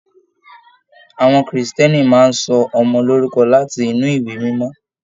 Àwọn Kírísítẹ́nì máa n sọ ọmọ lorúkọ láti inú ìwé mímọ.